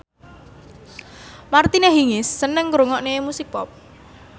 Martina Hingis seneng ngrungokne musik pop